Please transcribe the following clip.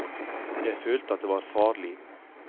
Jeg følte at det var farlig.